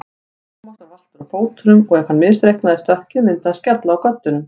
Thomas var valtur á fótum og ef hann misreiknaði stökkið myndi hann skella á göddunum.